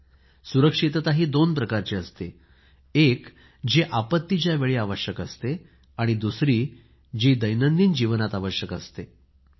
सुरक्षितता दोन प्रकारची असते एक जी आपत्तीच्या वेळी आवश्यक असते आणि दुसरी दैनंदिन जीवनात आवश्यक असते ती सुरक्षितता